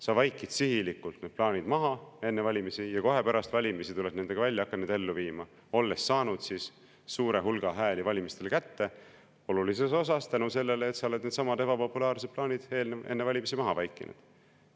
Sa vaikid sihilikult plaanid maha enne valimisi ja kohe pärast valimisi tuled nendega välja, hakkad neid ellu viima, olles saanud suure hulga hääli valimistel kätte, olulises osas tänu sellele, et sa oled needsamad ebapopulaarsed plaanid enne valimisi maha vaikinud.